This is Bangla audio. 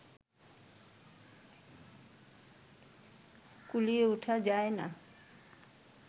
কুলিয়ে ওঠা যায় না